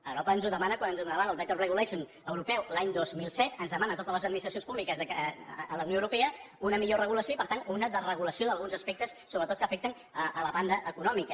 europa ens ho demana quan ens donava el better regulationdemana a totes les administracions públiques de la unió europea una millor regulació i per tant una desregulació d’alguns aspectes sobretot que afecten la banda econòmica